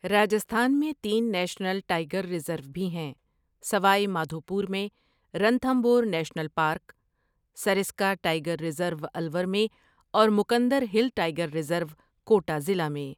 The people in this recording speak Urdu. راجستھان میں تین نیشنل ٹائیگر ریزور بھی ہیں، سوائی مادھوپور میں Ranthambore national park, Sariska tiger reserve Alwar میں اور Mukundra hill tiger reserve Kota ضلع میں۔